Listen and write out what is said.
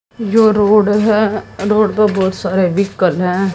जो रोड है रोड पे बहुत सारे व्हीकल हैं।